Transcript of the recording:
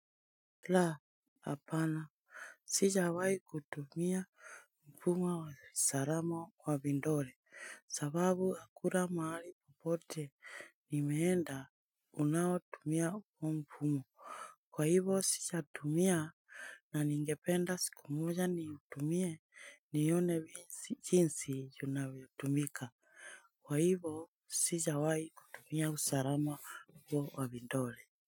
La! Hapana. Sijawai kutumia mfumo wa salama wa vidole, sababu hakuna mahali popote nimeenda unaowatumia huo mfumo. Kwa hivo, sijatumia na ningependa siku moja niutumie nione jinsi unavyotumika. Kwa hivo, sijawai kutumia usalama huo wa vidole.